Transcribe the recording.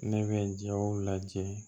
Ne bɛ jaw lajɛ